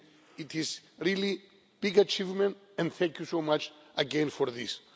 It is a really big achievement, and thank you so much again for this.